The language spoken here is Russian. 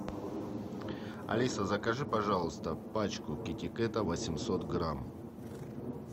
алиса закажи пожалуйста пачку китикета восемьсот грамм